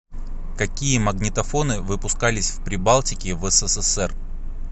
какие магнитофоны выпускались в прибалтике в ссср